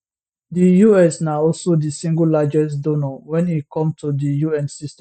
di us na also di single largest donor wen e come to di un system